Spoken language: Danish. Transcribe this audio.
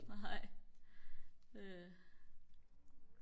nej øh